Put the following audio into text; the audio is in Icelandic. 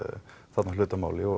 þarna hlut að máli og